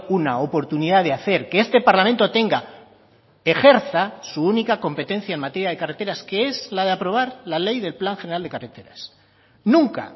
una oportunidad de hacer que este parlamento tenga ejerza su única competencia en materia de carreteras que es la de aprobar la ley del plan general de carreteras nunca